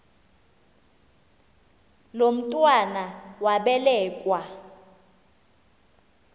lo mntwana wabelekua